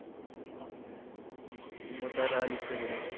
मुतायला आली का तुला?